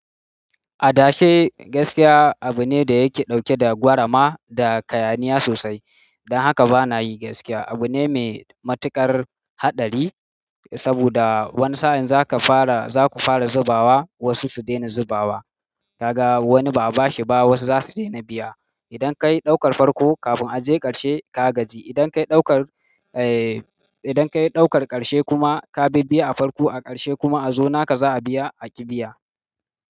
Adashe gaskiya abu ne da yake ɗauke da gwarama da kayaniya sosai. Don haka bana yi gaskiya abu ne mai matuƙar haɗari, saboda wani sa'in zaka fara, zaku fara zubawa wasu su daina zubawa. Kaga wani ba'a bashi ba wasu zasu daina biya. Idan kayi ɗaukar farko kafin a je ƙarshe ka gaji. Idan kayi ɗaukar, eh, idan kayi ɗaukar ƙarshe kuma ka bi bi a farko a ƙarshe kuma a zo naka za'a biya a ƙi biya.